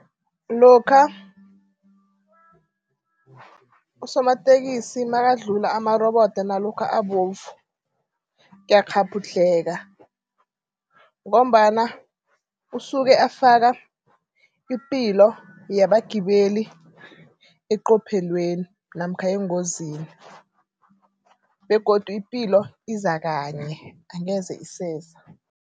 Lokha usomatekisi nakadlula amarobodo nalokha abovu, ngiyakghabhudlheka ngombana usuke afaka ipilo yabagibeli eqophelweni namkha engozini begodu ipilo iza kanye angeze iseza.